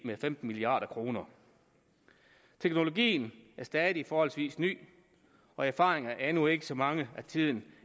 med femten milliard kroner teknologien er stadig forholdsvis ny og erfaringerne er endnu ikke så mange at tiden